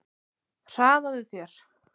Hraðaðu þér!